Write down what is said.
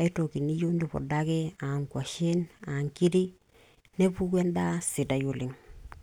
aitoki niyieu nipudaki, aa ngwashen ashu inkiri, nepuku enda sidai oleng.